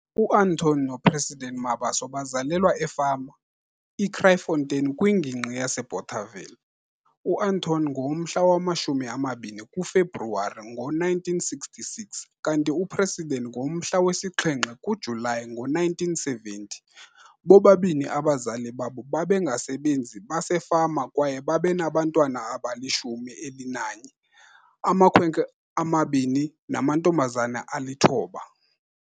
UAnton noPresident Mabaso bazalelwa efama, iKrytfontein kwiNgingqi yaseBothaville. UAnton ngowomhla wama-20 kuFebruwari ngo-1966 kanti uPresident ngowomhla wesi-7 kuJulayi ngo-1970. Bobabini abazali babo babengabasebenzi basefama kwaye babenabantwana abalishumi elinanye - amakhwenkwe amabini namantombazane alithoba.